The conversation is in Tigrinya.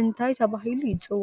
እንታይ ተበሂሉ ይፅዋዕ?